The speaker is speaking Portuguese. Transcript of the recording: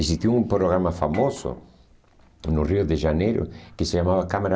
Existia um programa famoso no Rio de Janeiro que se chamava Câmara